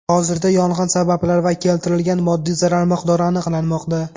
Hozirda yong‘in sabablari va keltirilgan moddiy zarar miqdori aniqlanmoqda.